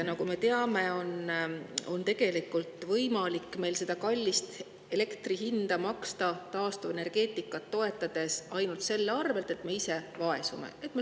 Nagu me teame, tegelikult on meil võimalik taastuvenergeetikat toetades kallist elektri hinda maksta ainult nii, et me ise vaesume.